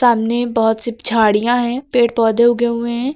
सामने बहोत सी झाड़ियां है पेड़ पौधे उगे हुए हैं।